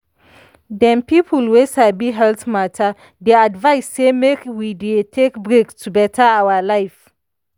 dem people wey sabi health matter dey advise say make we dey take break to better our life.